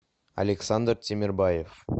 александр тимербаев